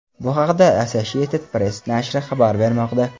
Bu haqda Associated Press nashri xabar bermoqda.